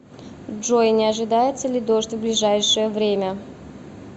джой не ожидается ли дождь в ближайшее время